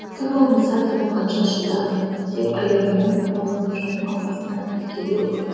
тым болмаса таң атқанша шыда деп аяғының оралатып жаңыл апасының тікелеу